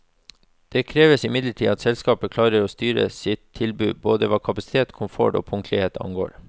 Det krever imidlertid at selskapene klarer å styrke sitt tilbud både hva kapasitet, komfort og punktlighet angår.